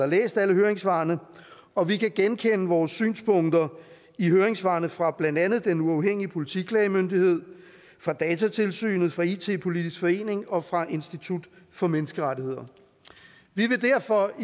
læst alle høringssvarene og vi kan genkende vores synspunkter i høringssvarene fra blandt andet den uafhængige politiklagemyndighed fra datatilsynet fra it politisk forening og fra institut for menneskerettigheder vi vil derfor